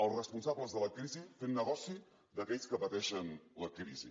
els responsables de la crisi fent negoci d’aquells que pateixen la crisi